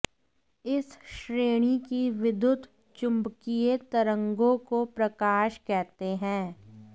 इस श्रेणी की विद्युत चुम्बकीय तरंगों को प्रकाश कहते हैं